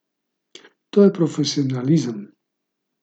To je profesionalizem.